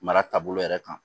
Mara taabolo yɛrɛ kan